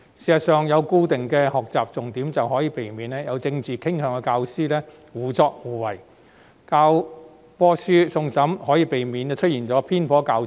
事實上，有了固定的學習重點，便可避免有政治傾向的教師胡作非為，而教科書送審亦可避免教材出現偏頗。